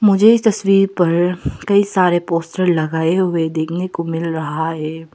मुझे इस तस्वीर पर कई सारे पोस्टर लगाए हुए देखने को मिल रहा है।